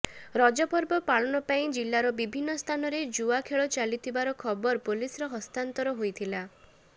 ରଜପର୍ବ ପାଳନ ପାଇଁ ଜିଲ୍ଲାର ବିଭିନ୍ନ ସ୍ଥାନରେ ଜୁଆ ଖେଳ ଚାଲିଥିବାର ଖବର ପୁଲିସର ହସ୍ତାନ୍ତର ହୋଇଥିଲା